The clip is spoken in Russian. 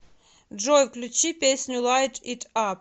джой включи песню лайт ит ап